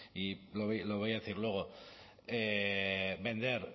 y lo voy a decir luego vender